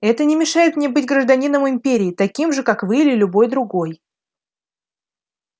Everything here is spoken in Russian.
это не мешает мне быть гражданином империи таким же как вы или любой другой